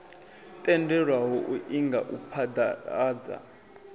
tendelwaho u inga u phaḓaladza